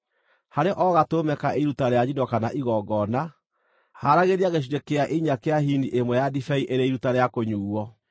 Harĩ o gatũrũme ka iruta rĩa njino kana igongona, haaragĩria gĩcunjĩ kĩa inya kĩa hini ĩmwe ya ndibei ĩrĩ iruta rĩa kũnyuuo.